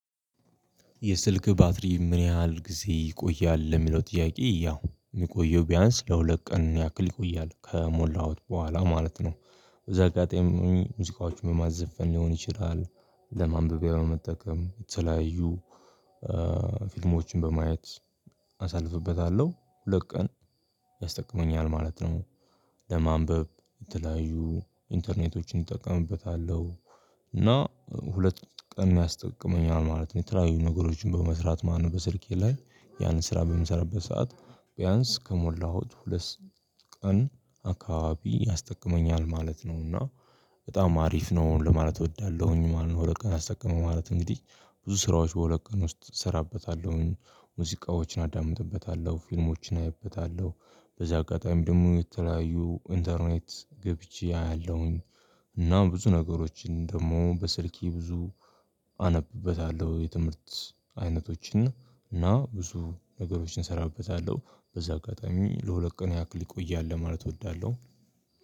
"የስልክህ ባትሪ ምን ያህል ጊዜ ይቆያል?" ለሚለው ጥያቄ፤ ያው የሚቆየው ቢያንስ ለሁለት ቀን ያክል ይቆያል ከሞላሁት በኋላ ማለት ነው። በዚህ አጋጣሚ ሙዚቃዎችን በማዘፍን ሊሆን ይችላል። ለማንበቢያ ያው መጠቀም የተለያዩ ፊልሞችን በማየት አሳልፍበታለሁ። ሁለት ቀን ያስጠቅመኛል ማለት ነው። ለማንበብ የተለያዩ ኢንተርኔቶችን እጠቀምበታለሁ፤ እና ሁለት ቀን ያስጠቅመኛል ማለት ነው። የተለያዩ ነገሮችን በመስራት ማለት ነው በስልኬ ላይ ያን ስራ በምሰራበት ሰዓት ቢያንስ ከሞላሁት ሁለት ቀን አካባቢ ያስጠቅመኛል ማለት ነው፤ እና በጣም አሪፍ ነው ለማለት እወዳለሁኝ ማለት ነው። ሁለት ቀን አስጠቀመው ማለት እንግዲህ ብዙ ስራዎች በሁለት ቀን ውስጥ እሰራበታለሁኝ። ሙዚቃዎችን አዳምጥበታለሁ፣ ፊልሞችን አይበታለሁ፣ በዚያ አጋጣሚ ደግሞ የተለያዩ ኢንተርኔት ገብቼ አያለሁኝ። እና ብዙ ነገሮችን ደግሞ በስልኬ ብዙ አነብበታለሁ የትምህርት አይነቶችን እና ብዙ ነገሮችን እሰራበታለሁ በዚህ አጋጣሚ ለሁለት ቀን ያክል ይቆያል ለማለት እወዳለሁ።